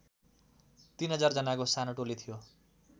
३००० जानाको सानो टोली थियो